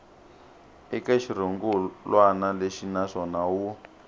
eka xirungulwana lexi naswona wu